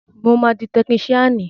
Mo máa di tekiníṣíànì